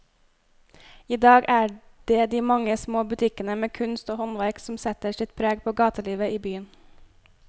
I dag er det de mange små butikkene med kunst og håndverk som setter sitt preg på gatelivet i byen.